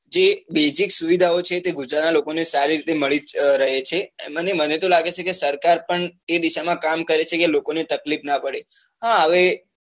જે basic સુવિધાઓ છે એ ગુજરાત નાં લોકો ને સારી રીતે મળી રહે છે અને મને તો લાગે છે કે સરકાર પણ તે દિશા માં કામ કરે છે કે લોકો ને તકલીફ નાં પડે હા હવે